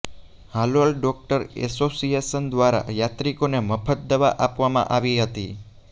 Halol doctor association દ્વારા યાત્રીકોને મફત દવા આપવામાં આવી હતી